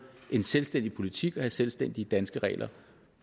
en selvstændig politik og have selvstændige danske regler